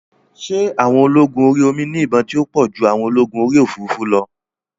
Ṣé àwọn ológun orí omi ní ìbọn tí ó pọ̀ ju àwọn ológun orí òfurufú lọ?